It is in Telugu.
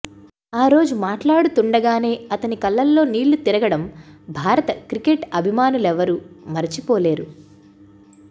ఆ రోజు మాట్లాడుతుండగానే అతని కళ్లల్లో నీళ్లు తిరగడం భారత క్రికెట్ అభిమానులెవరూ మరచిపోలేరు